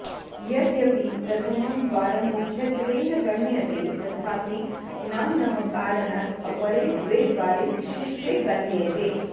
यद्यपि प्रथमं द्वारं मुख्यत्वेन गण्यते तथापि नाम्नः कारणात् अपरे द्वे द्वारे विशिष्टे गण्येते